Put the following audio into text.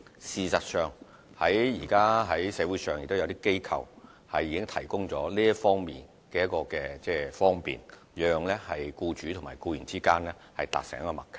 事實上，現時在社會上也有一些機構提供這方面的方便，讓僱主與僱員達成默契。